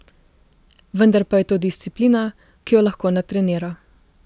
Vendar pa je to disciplina, ki jo lahko natrenira.